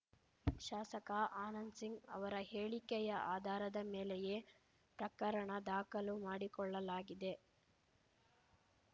ಶಾಸಕ ಆನಂದ್‌ ಸಿಂಗ್‌ ಅವರ ಹೇಳಿಕೆಯ ಆಧಾರದ ಮೇಲೆಯೇ ಪ್ರಕರಣ ದಾಖಲು ಮಾಡಿಕೊಳ್ಳಲಾಗಿದೆ